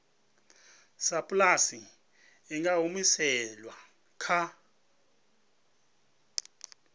sapulasi i nga humiselwa kha